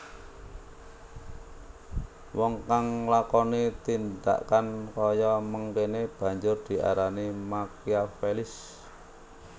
Wong kang nglakoni tindhakan kaya mangkéné banjur diarani Makiavelis